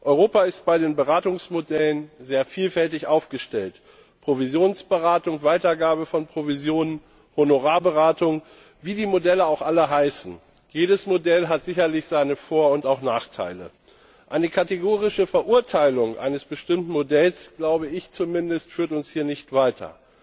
Europa ist bei den Beratungsmodellen sehr vielfältig aufgestellt Provisionsberatung, Weitergabe von Provisionen, Honorarberatung wie die Modelle auch alle heißen, jedes Modell hat sicherlich seine Vor und Nachteile. Eine kategorische Verurteilung eines bestimmten Modells führt uns hier nicht weiter.